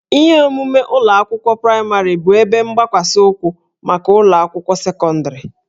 Ihe omume ụlọ akwụkwọ praịmarị bụ ebe mgbakwasị ụkwụ maka ụlọ akwụkwọ sekọndịrị